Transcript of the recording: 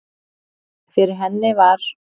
Fyrir henni var